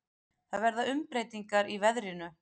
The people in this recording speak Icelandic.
Það verða umbreytingar í veðrinu.